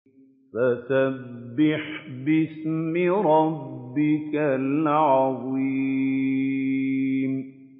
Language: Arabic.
فَسَبِّحْ بِاسْمِ رَبِّكَ الْعَظِيمِ